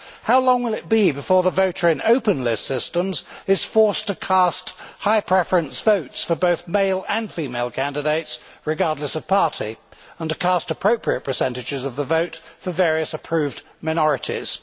How long will it be before the voter in open list systems is forced to cast high preference votes for both male and female candidates regardless of party and to cast appropriate percentages of the vote for various approved minorities?